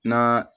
Na